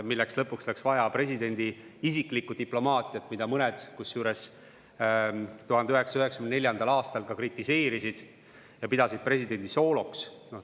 Lõpuks läks selleks vaja presidendi isiklikku diplomaatiat, 1994. aastal seda mõned ka kritiseerisid ja pidasid presidendi sooloks.